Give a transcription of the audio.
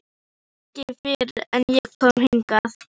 Ekki fyrr en ég kom hingað.